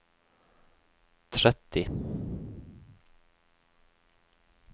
tretti